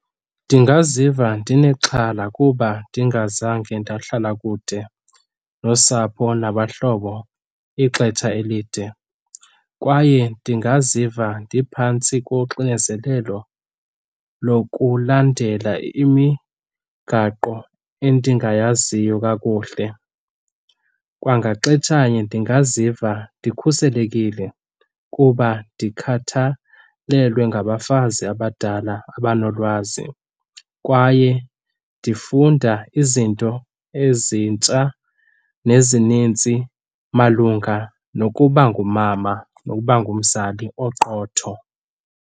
Ndingaziva ndinexhala kuba ndingazange ndahlala kude nosapho nabahlobo ixesha elide kwaye ndingaziva ndiphantsi koxinezelelo lokulandelela imigaqo endingayaziyo kakuhle. Kwangexetsha elinye ndingaziva ndikhuselekile kuba ndikhathalelwe ngabafazi abadala abanolwazi kwaye ndifunda izinto ezintsha nezininzi malunga nokuba ngumama, nokuba ngumzali oqotho.